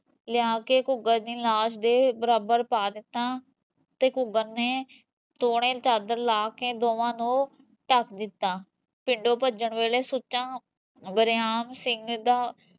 ਲਿਆ ਕੇ ਘੂਗਰ ਦੀ ਲਾਸ਼ ਦੇ ਬਰਾਬਰ ਪਾ ਦਿੱਤਾ ਤੇ ਘੂਗਰ ਨੇ ਤੋਣੇ ਚਾਦਰ ਲਾ ਕੇ ਦੋਵਾਂ ਨੂੰ ਢੱਕ ਦਿੱਤਾ ਪਿੰਡੋਂ ਭੱਜਣ ਵੇਲੇ ਸੁੱਚਾ ਬਰਿਆਮ ਸਿੰਘ ਦਾ